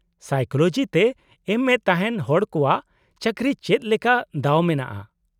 -Psychology ᱛᱮ ᱮᱢᱹᱮ ᱛᱟᱦᱮᱸᱱ ᱦᱚᱲ ᱠᱚᱣᱟᱜ ᱪᱟᱠᱨᱤ ᱪᱮᱫ ᱞᱮᱠᱟ ᱫᱟᱣ ᱢᱮᱱᱟᱜᱼᱟ ?